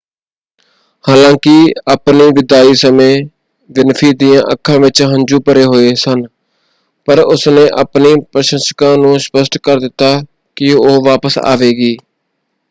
ਹਾਲਾਂਕਿ ਆਪਣੀ ਵਿਦਾਈ ਸਮੇਂ ਵਿਨਫ੍ਰੀ ਦੀਆਂ ਅੱਖਾਂ ਵਿੱਚ ਹੰਝੂ ਭਰੇ ਹੋਏ ਸਨ ਪਰ ਉਸਨੇ ਆਪਣੇ ਪ੍ਰਸ਼ੰਸਕਾਂ ਨੂੰ ਸਪਸ਼ਟ ਕਰ ਦਿੱਤਾ ਕਿ ਉਹ ਵਾਪਸ ਆਵੇਗੀ।